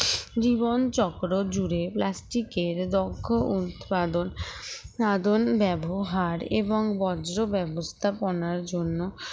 জীবনচক্র জুড়ে plastic এর দক্ষ ও উৎপাদন ব্যবহার এবং বর্জ্য ব্যবস্থাপনার জন্য